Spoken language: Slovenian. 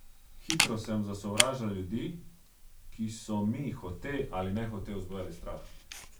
Hitro sem zasovražila ljudi, ki so mi hote ali nehote vzbujali strah.